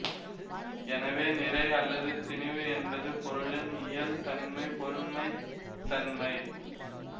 எனவே நிறை அல்லது திணிவு என்பது பொருளின் இயல் தன்மை பொருண்மைத்தன்மை